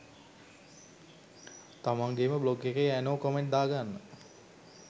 තමන්ගෙම blog එකේ anon comment දා ගන්න?